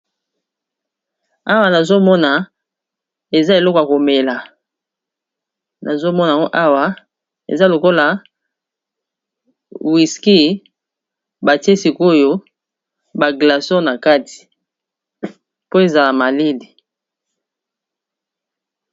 Awa nazomona eza eloka komela nazomonao awa eza lokola wiski batie sikoyo baglason na kati po ezala malele